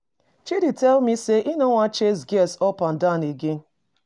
Chidi tell me say he no wan chase girls up and down again